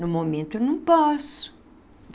No momento eu não posso.